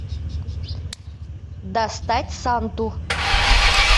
достать санту